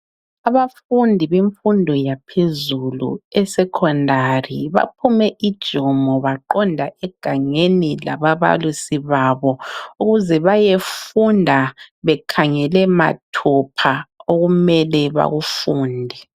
Abafundi bemfundo yaphezulu esecondary baphume ujumo baqonda egangeni lababalisi babo ukuze bayefunda bekhangele mathupha okumele bakufunde.